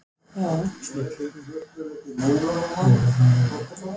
Má búast við fleiri tilkynningum?